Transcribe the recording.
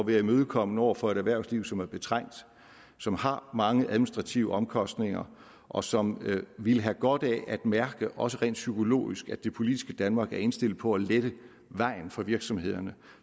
være imødekommende over for et erhvervsliv som er betrængt som har mange administrative omkostninger og som ville have godt af at mærke også rent psykologisk at det politiske danmark er indstillet på at lette vejen for virksomhederne